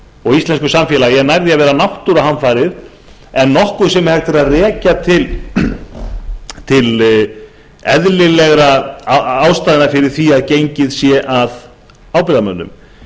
og íslensku samfélagi er nær því að vera náttúruhamfarir en nokkuð sem hægt er að rekja til eðlilegra ástæðna fyrir því að gengið sé að ábyrgðarmönnum